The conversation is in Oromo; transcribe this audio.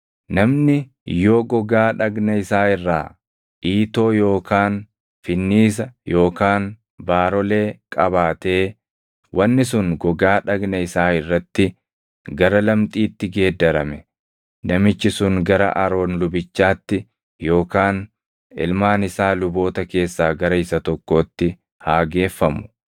“Namni yoo gogaa dhagna isaa irraa iitoo yookaan finniisa yookaan baarolee qabaatee wanni sun gogaa dhagna isaa irratti gara lamxiitti geeddarame, namichi sun gara Aroon lubichaatti yookaan ilmaan isaa luboota keessaa gara isa tokkootti haa geeffamu.